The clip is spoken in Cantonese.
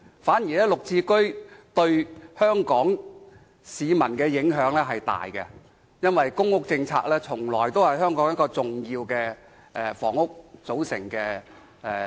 反而綠置居對香港市民的影響較大，因為公屋政策從來是香港房屋政策的重要組成。